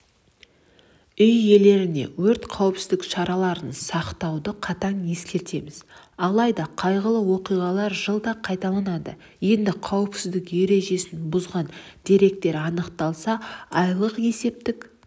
үй иелеріне өрт қауіпсіздік шараларын сақтауды қатаң ескертеміз алайда қайғылы оқиғалар жылда қайталанады енді қауіпсіздік ережесін бұзған деректер анықталса айлық есептік